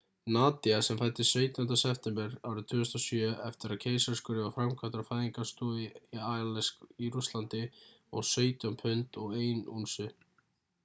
nadia sem fæddist 17. september 2007 eftir að keisaraskurður var framkvæmdur á fæðingarstofu í aleisk í rússlandi vóg 17 pund og 1 únsu